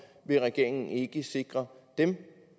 vil regeringen ikke sikre dem